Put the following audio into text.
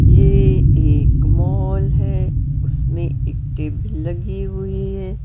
ये एक मॉल है उसमें एक टेबल लगी हुई है।